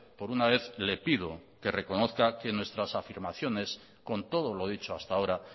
por una vez le pido que reconozca que nuestras afirmaciones con todo lo dicho hasta ahora